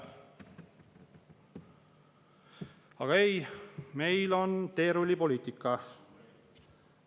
Aga ei, meil on teerullipoliitika.